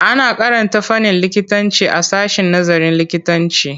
Ana karanta fannin likitanci a sashen nazarin likitanci.